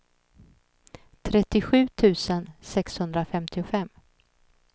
trettiosju tusen sexhundrafemtiofem